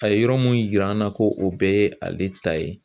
A ye yɔrɔ mun yira an na ko o bɛɛ ye ale ta ye